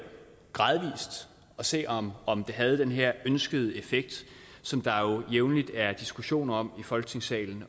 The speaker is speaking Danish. og se om om det havde den her ønskede effekt som der jo jævnligt er diskussioner om i folketingssalen